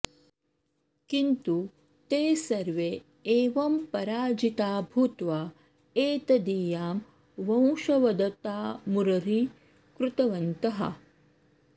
किन्तु ते सर्वे एवं पराजिता भूत्वा एतदीयां वशंवदतामुररीकृतवन्तः